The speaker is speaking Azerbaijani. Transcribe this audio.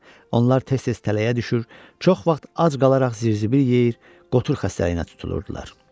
Onlar tez-tez tələyə düşür, çox vaxt ac qalaraq zirzibil yeyir, qotur xəstəliyinə tutulurdular.